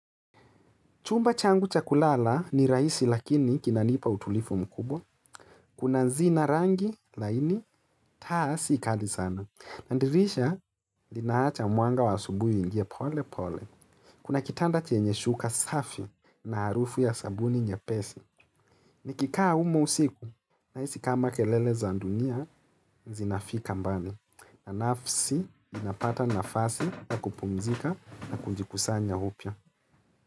Chumba changu cha kulala ni rahisi lakini kinanipa utulivu mkubwa. Kuna zina rangi laini, taa si kali sana. Na dirisha linaacha mwanga wa asubuhi uingie pole pole. Kuna kitanda chenye shuka safi na harufu ya sabuni nyepesi. Nikikaa humo usiku, nahisi kama kelele za dunia zinafika mbali. Na nafsi inapata nafasi ya kupumzika na kujikusanya upya.